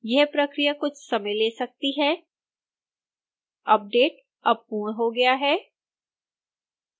यह प्रक्रिया कुछ समय ले सकती है अपडेट अब पूर्ण हो गया है